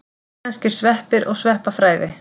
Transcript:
Íslenskir sveppir og sveppafræði.